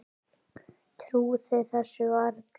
Trúði þessu varla.